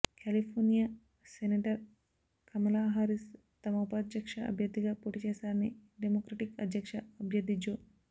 California senator Kamala Harris తమ ఉపాధ్యక్ష అభ్యర్ధిగా పోటీ చేస్తారని డెమోక్రటిక్ అధ్యక్ష అభ్యర్ధి జో